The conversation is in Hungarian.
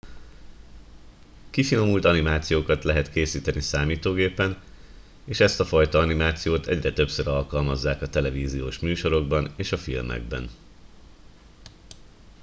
kifinomult animációkat lehet készíteni számítógépen és ezt a fajta animációt egyre többször alkalmazzák a televíziós műsorokban és a filmekben